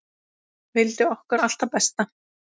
Vildi okkur allt það besta.